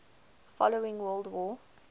following world war